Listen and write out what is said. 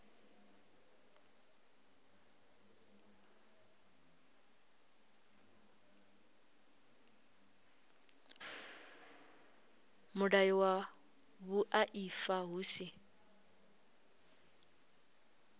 mulayo wa vhuaifa hu si